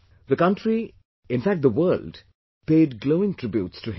The country, in fact the world paid glowing tributes to him